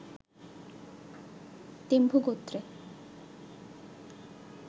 তেম্বু গোত্রে